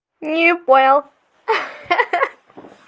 не понял ха-ха